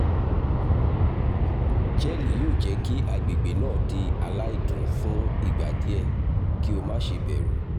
jẹ́ẹ̀lì óò jẹ́ kí agbègbè náà di aláìdùn fún ìgbà díẹ̀ kí o má ṣe bẹ̀rù